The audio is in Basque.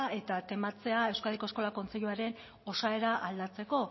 eta tematzea euskadiko eskola kontseiluren osaera aldatzeko